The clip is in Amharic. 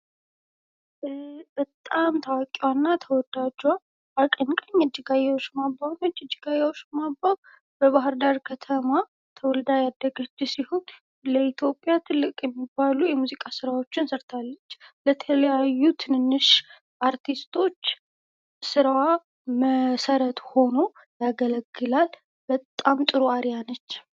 በጣም ታዋቂዋ እና ተወዳጇ አቀንቃኝ እጅጋየሁ ሽባባዉ ነች። እጅጋየሁ ሽባባዉ በባህርዳር ከተማ ተወልዳ ያደገች ሲሆን ለኢትዮጵያ ትልቅ የሚባሉ ተወዳጅ የሙዚቃ ስራዎችን ሰርታለች። ለተለያዩ ትናናሽ አርቲስቶች ስራዋ መሰረት ሆኖ ያገለግላል። በጣም ጥሩ አርዓያ ነች።